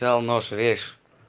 дал нож режь